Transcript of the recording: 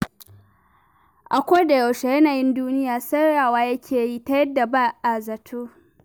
A kodayaushe yanayin duniya sauyawa yake yi ta yadda ba a zato.